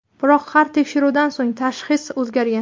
Biroq har tekshiruvdan so‘ng tashxis o‘zgargan.